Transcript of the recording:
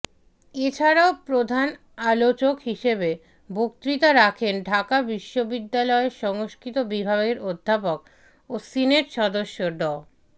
এছাড়াও প্রধান আলোচক হিসেবে বক্তৃতা রাখেন ঢাকা বিশ্ববিদ্যালয়ের সংস্কৃত বিভাগের অধ্যাপক ও সিনেট সদস্য ড